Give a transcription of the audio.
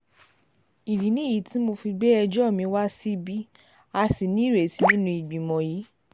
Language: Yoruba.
ìdí nìyí tí mo fi gbé ẹjọ́ mi wá síbí a sì nírètí nínú ìgbìmọ̀ yìí